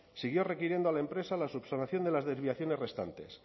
siguió requiriendo a la empresa la subsanación de las desviaciones restantes